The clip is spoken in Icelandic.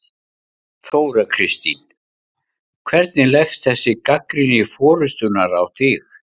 Þóra Kristín: Hvernig leggst þessi gagnrýni forystunnar á þig?